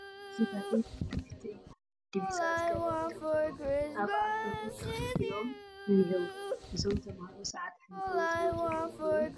እዚ በሪ ቤት ትምህርቲ እዩ፡፡ ዲቢዛ ዝገበሩ ተመሃሮ ኣብ ኣፍ በሩ ተኸልኪሎም እኔህዉ፡፡ እዞም ተመሃሮ ሰዓት ኣሕሊፎም ዝመፁ ዶ ይኾኑ?